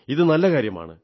ഇത് നല്ല കാര്യമാണ്